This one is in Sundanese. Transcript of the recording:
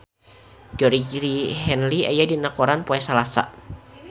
Georgie Henley aya dina koran poe Salasa